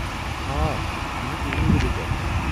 آ، مےٚ ہِیو٘ت ییٚمے ؤرِیہ دٲخلہٕ۔